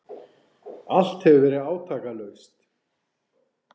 Allt hefur verið átakalaust.